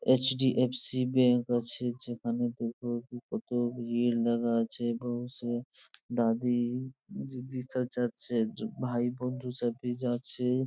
HDFC. Bank আছে যেখানে কত ভিড় লাগা আছে | দাদি দিদা যাচ্ছে ভাই বোন সবাই যাচ্ছে।